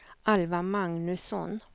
Alva Magnusson